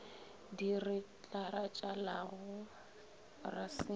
di re tlaralatšago ra se